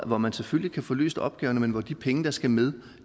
hvor man selvfølgelig kan få løst opgaverne men hvor de penge der skal med